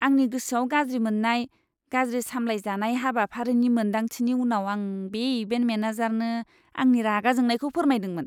आंनि गोसोआव गाज्रि मोननाय, गाज्रि सामलायजानाय हाबाफारिनि मोनदांथिनि उनाव आं बे इभेन्ट मेनेजारनो आंनि रागा जोंनायखौ फोरमायदोंमोन!